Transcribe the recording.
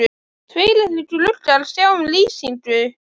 Tveir litlir gluggar sjá um lýsingu